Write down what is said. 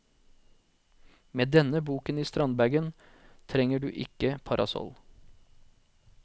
Med denne boken i strandbagen trenger du ikke parasoll.